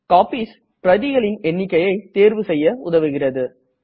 copies பிரதிகளின் எண்ணிக்கையை தேர்வு செய்ய உதவுகிறது